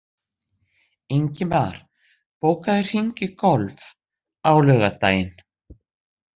Ingimar, bókaðu hring í golf á laugardaginn.